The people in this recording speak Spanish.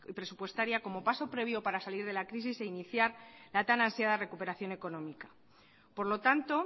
presupuestaria como paso previo para salir de la crisis e iniciar la tan ansiada recuperación económica por lo tanto